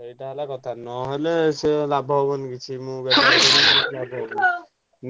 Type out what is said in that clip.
ସେଇଟା ହେଲା କଥା। ନହେଲେ ସେ ଲାଭ ହବନି କିଛି ମୁଁ କିଛି ଲାଭ ହବନି।